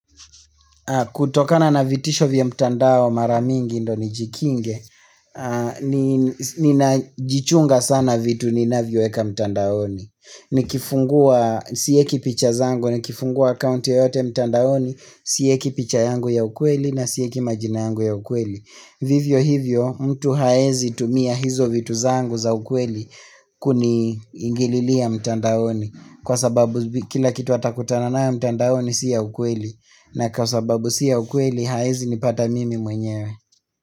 Kutokana na vitisho vya mtandao maramingi ndio nijikinge Ninajichunga sana vitu ninavyo weka mtandaoni Nikifungua siweki picha zangu nikifungua akaunti yoyote mtandaoni Siweki picha yangu ya ukweli na siweki majina yangu ya ukweli Vivyo hivyo mtu haezi tumia hizo vitu zangu za ukweli kuni ingililia mtandaoni Kwa sababu kila kitu watakutanana ya mtandaoni siyo ukweli na kwa sababu siyo ukweli hawezi ni pata mimi mwenyewe.